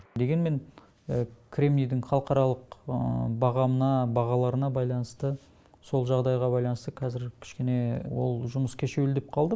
дегенмен кремнийдің халықаралық бағамына бағаларына байланысты сол жағдайға байланысты қазір кішкене ол жұмыс кешеуілдеп қалды